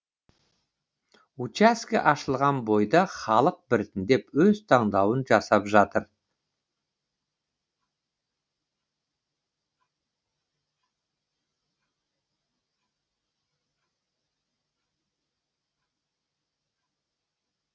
учаске ашылған бойда халық біртіндеп өз таңдауын жасап жатыр